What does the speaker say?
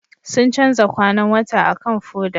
Sun canza kwanan wata akan foda